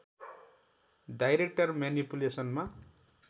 direct म्यानिपुलेसनमा